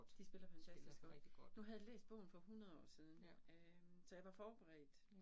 De spiller fantastisk. Nu havde jeg læst bogen for 100 år siden, øh så jeg var forberedt